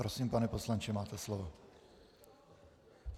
Prosím, pane poslanče, máte slovo.